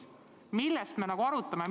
Mille üle me üldse arutame?!